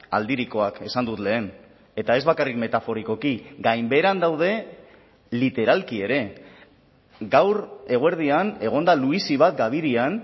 aldirikoak esan dut lehen eta ez bakarrik metaforikoki gainbeheran daude literalki ere gaur eguerdian egon da luizi bat gabirian